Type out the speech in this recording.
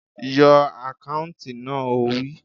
Yọ àkáùntì náà! Ó wí